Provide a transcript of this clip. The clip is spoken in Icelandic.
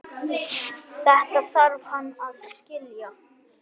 Þetta þarf hann að skilja.